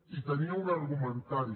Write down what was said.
i tenia un argumentari